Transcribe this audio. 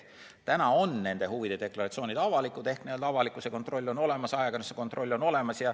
Täna on nende huvide deklaratsioonid avalikud ehk n-ö avalikkuse kontroll on olemas, ajakirjanduse kontroll on olemas.